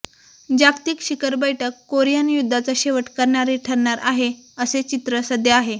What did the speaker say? जागतिक शिखर बैठक कोरियन युद्धाचा शेवट करणारी ठरणार आहे असे चित्र सध्या आहे